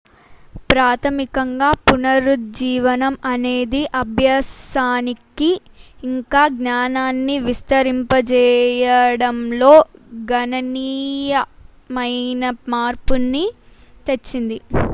ప్రాథమికంగా పునరుజ్జీవనం అనేది అభ్యాసానికి ఇంకా జ్ఞానాన్ని విస్తరింపజేయడంలో గణనీయమైన మార్పుని తెచ్చింది